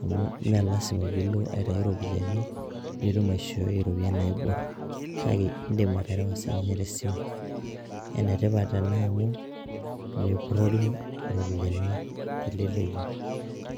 Amu me lasima pilo aitayu ropiyaiani, pitum aishoi ropiyaiani naibor. Kake idim aterewa sininye tesimu. Enetipat ena amu, mepurrori iropiyiani teleleki.